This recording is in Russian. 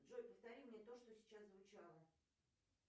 джой повтори мне то что сейчас звучало